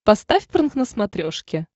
поставь прнк на смотрешке